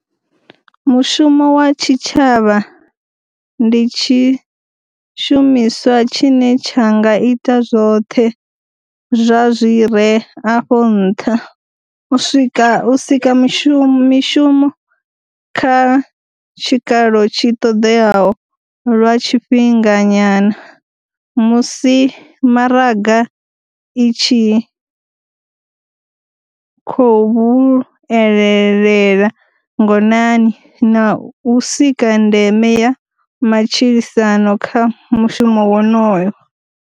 Mushumo wa tshitshavha ndi tshi shumiswa tshine tsha nga ita zwoṱhe zwa zwi re afho nṱha u sika mishumo kha tshikalo tshi ṱoḓeaho lwa tshifhinganyana musi maraga i tshi khou vhuelela ngonani, na u sika ndeme ya matshilisano kha mushumo wonoyo.